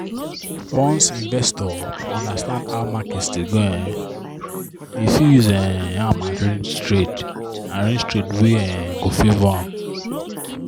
once investor understand how market dey go um e fit use um am arrange trade arrange trade wey um go favour am.